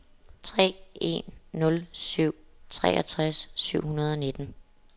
tre en nul syv treogtres syv hundrede og nitten